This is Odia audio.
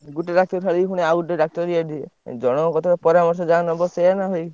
ଗୋଟେ ଡାକ୍ତର ଛାଡି ପୁଣି ଆଉ ଗୋଟେ ଡାକ୍ତର ଜଣଙ୍କ କଥାରେ ପରାମର୍ଶ ଯାହା ନବ ସେୟା ନା ଭାଇ।